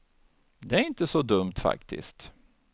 Det är inte så dumt faktiskt.